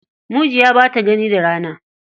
Mujiya ba ta gani da rana.